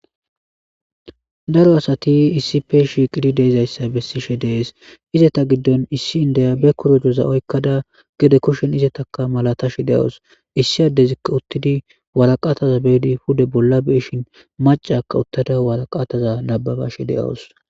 Daro asati issi pe shiiqidi deizayssa bessishe dees izeta giddon issi indaya be korojoza oykkada gede kushen izetaka malatashi de'awos issi addezikka uttidi walaqataza beedi pude bolla beishin macaka uttada walaqataza nababashi de'awos.